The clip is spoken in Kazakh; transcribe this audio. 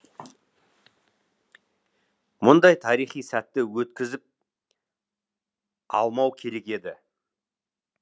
мұндай тарихи сәтті өткізіп алмау керек еді